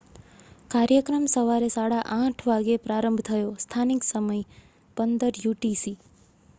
કાર્યક્રમ સવારે 8:30 વાગ્યે પ્રારંભ થયો. સ્થાનિક સમય 15.00 યુટીસી